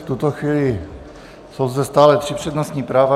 V tuto chvíli jsou zde stále tři přednostní práva.